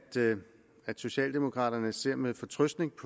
at socialdemokraterne ser med fortrøstning